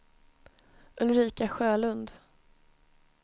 Ulrika Sjölund